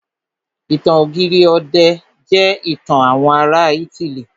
Ìtàn ọ̀gírì ọ̀dẹ̀ jẹ́ ìtàn àwọn ará ítílì.